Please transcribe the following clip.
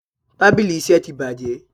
Tábìlì iṣẹ́ tí bàjé.